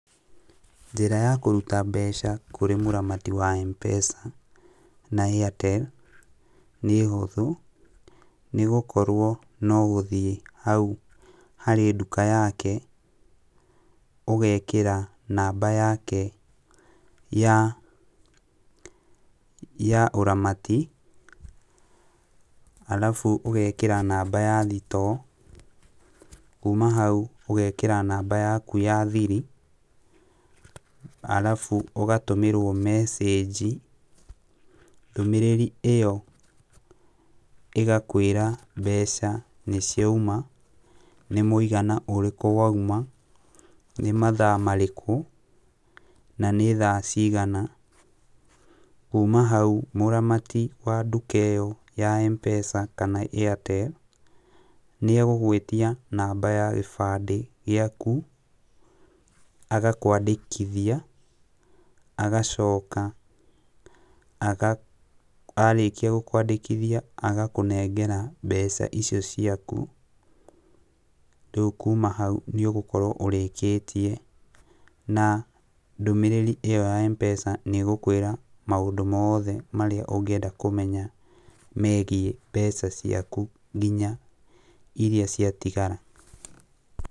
Njĩra ya kũruta mbeca kũrĩ mũramati wa Mpesa na Airtel nĩ hũthũ, nĩgũkorwo no gũthiĩ hau harĩ nduka yake, ũgekĩra namba yake ya ya ũramati, arabu ũgekĩra namba ya thitoo, kuma hau ũgekĩra namba yaku ya thiri, arabu ũgatũmĩrwo mecĩgi. Ndũmĩrĩri ĩyo ĩgakwĩra mbeca nĩciauma, nĩ mũigana ũrĩkũ wauma, nĩ mathaa marĩkũ, na nĩ thaa cigana. Kuma hau mũramati wa nduka ĩyo ya Mpesa kana Airtel, nĩegũgwĩtia namba ya kĩbandĩ gĩaku agakwandĩkithia, agacoka aga arĩkia gũkwandĩkithia agakũnengera mbeca icio ciaku. Rĩu kuma hau nĩũgũkorwo ũrĩkĩtie na ndũmĩrĩri ĩyo ya Mpesa nĩĩgũkwĩra maũndũ moothe marĩa ũngĩenda kũmenya megiĩ mbeca ciaku nginya iria ciatigara.